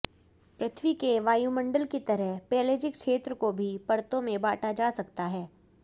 पृथ्वी के वायुमंडल की तरह पेलैजिक क्षेत्र को भी परतों में बाँटा जा सकता है